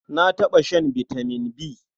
Na taɓa shan vitamin B.